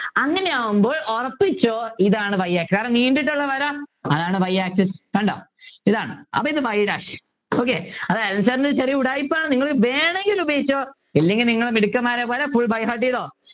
അങ്ങനെയാവുമ്പോൾ ഉറപ്പിച്ചോ ഇതാണ് y axis കാരണം നീണ്ടിട്ട്ഉള്ള വര അതാണ് y axis കണ്ടോ ഇതാണ് അപ്പൊ ഇത് y dash okay അത് അനിൽ sir ൻ്റെ ഒരു ചെറിയ ഉടായിപ്പാണ് നിങ്ങൾ വേണെങ്കിൽ ഉപയോഗിച്ചോ അല്ലെങ്കിൽ നിങ്ങൾ മിടുക്കന്മാരെപ്പോലെ full by heart ചെയ്തോ